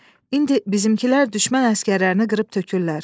İndi bizimkilər düşmən əsgərlərini qırıb tökürlər.